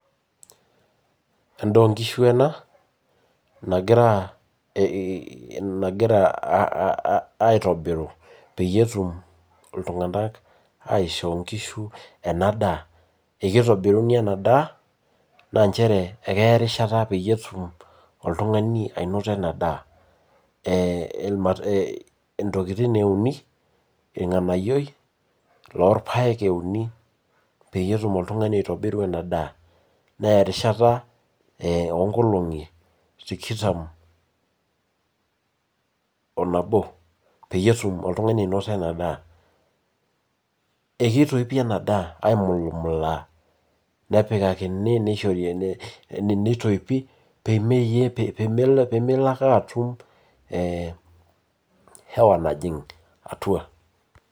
Endaa onkishu enab nagira aa aitobiru peyieu etum ltunganak aisho nkishu enadaa, ekitobiruni ena ndaa na nchere keya erishata tenepuoi oltungani ainoto enadaa ntokitin euni, irnganayio lorpaek euni peyie etum oltungani aitobiru enadaa, neya erishata onkolongi tikitam onabo peyie etum oltungani ainoto enadaa, akitoipi enadaa aimulumulaa nepikakini, nitoipi pemeyiepemelo ake atum hewa najing atua.